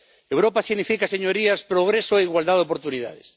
Europa significa, señorías, progreso e igualdad de oportunidades.